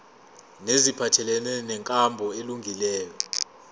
neziphathelene nenkambo elungileyo